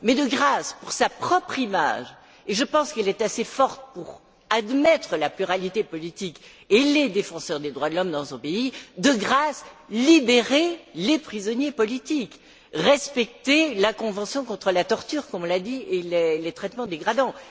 Mais de grâce, pour sa propre image, et je pense qu'elle est assez forte pour admettre la pluralité politique et les défenseurs des droits de l'homme dans son pays, de grâce, libérez les prisonniers politiques, respectez la convention contre la torture, comme on l'a dit, et contre les traitements dégradants!